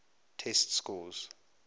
test scores